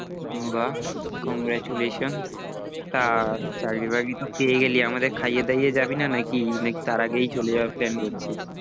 বাঃ congratulations তা চাকরি বাকরি তো পেয়ে গেলি আমাদের খাইয়ে দাইয়ে যাবি না নাকি না কি তার আগেই চলে যাওয়ার plan করছিস?